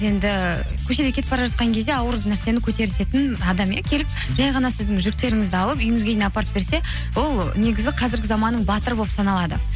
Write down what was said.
енді көшеде кетіп бара жатқан кезде ауыр нәрсені көтерісетін адам иә келіп жай ғана сіздің жүктеріңізді алып үйіңізге дейін апарып берсе ол негізі қазіргі заманның батыры болып саналады